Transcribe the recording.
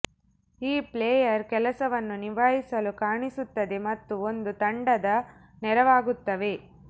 ಈ ಪ್ಲೇಯರ್ ಕೆಲಸವನ್ನು ನಿಭಾಯಿಸಲು ಕಾಣಿಸುತ್ತದೆ ಮತ್ತು ಒಂದು ತಂಡದ ನೆರವಾಗುತ್ತವೆ